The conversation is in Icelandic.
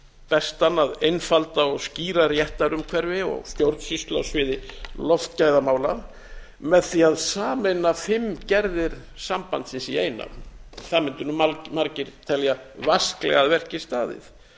bestan að einfalda á skýra réttarumhverfi og stjórnsýslu á sviði loftgæðamála með því að sameina fimm gerðir sambandsins í eina það mundu nú margir telja vasklega að verki staðið